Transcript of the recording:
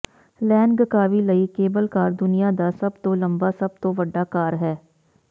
Langkawi ਲਈ cable car ਦੁਨੀਆ ਦਾ ਸਭ ਤੋਂ ਲੰਬਾ ਸਭ ਤੋਂ ਵੱਡਾ ਕਾਰ ਹੈ